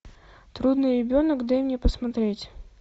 трудный ребенок дай мне посмотреть